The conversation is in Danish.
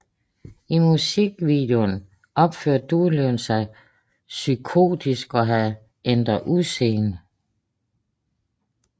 I musikvideoen opførte Dyrlund sig psykotisk og havde ændret udseende